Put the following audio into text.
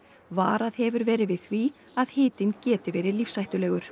varað hefur verið við því að hitinn geti verið lífshættulegur